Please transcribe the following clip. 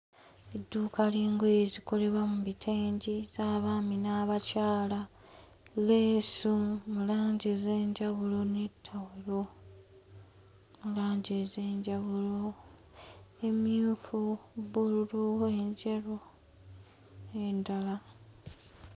Edduuka ly'engoye ezikolebwa mu bitengi z'abaami n'abakyala leesu mu langi ez'enjawulo ne ttawulo mu langi ez'enjawulo emmyufu bbululu enjeru n'endala.